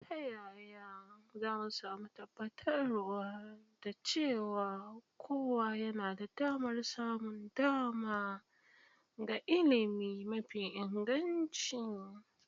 Ta yaya za mu tabbatar da cewa kowa yana da damar samun dama ga ilimi mafi inganci?